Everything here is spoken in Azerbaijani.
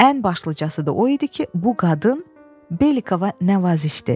Ən başlıcası da o idi ki, bu qadın Belikova nəvazişdir.